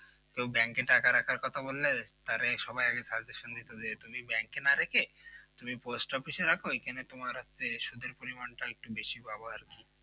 কেউ bank টাকা রাখার কথা বললেই তারে সবাই আগে suggestion দিতো যে তুমি bank এ না রেখে তুমি পোস্ট অফিসে রাখো এখানে তোমার হচ্ছে সুদের পরিমাণটা বেশি পাবা আর কি